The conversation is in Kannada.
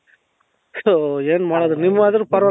so ಏನ್ ಮಾಡದು ನೀವಾದ್ರು ಪರವಾಗಿಲ್ಲ